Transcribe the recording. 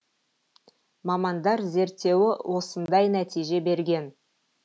мамандар зерттеуі осындай нәтиже берген